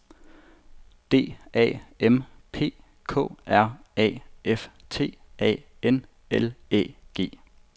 D A M P K R A F T A N L Æ G